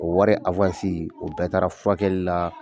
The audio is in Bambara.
O wari o bɛɛ taara furakɛli la.